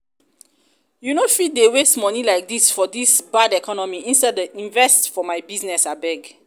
you no fit dey waste money like dis for dis bad economy instead invest for my business abeg